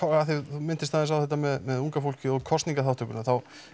þú minntist aðeins á þetta með unga fólkið og kosningaþátttökuna þá